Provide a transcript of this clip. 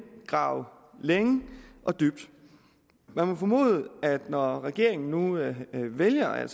grave længe og dybt man må formode at når regeringen nu altså vælger at